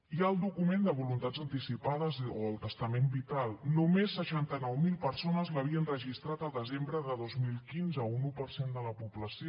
hi ha el document de voluntats anticipades o el testament vital només seixanta nou mil persones l’havien registrat el desembre de dos mil quinze un un per cent de la població